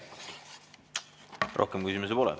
Rohkem küsimusi pole.